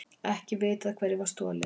Ekki vitað hverju var stolið